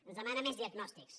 ens demana més diagnòstics